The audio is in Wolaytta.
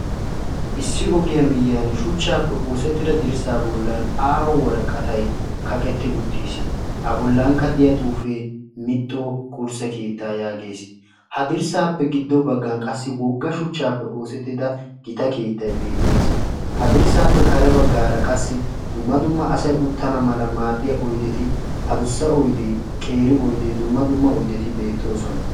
Issi ogiyaa miyiyaan shuchchaappe oosettida dirssaa bollan aaho waraqatay kaqetti uttiisi. a bollankka de'iyaa xuufee mixo qursse keettaa yaagees. ha dirssaappe giddon baggan gita shuchchaappe oosettida keettay de''es. ha dirssappe kare baggaara qassi dumma dumma asay uttanawu maaddiyaa adussa oydee qeeri oydee dumma dumma oydeti de'oosona.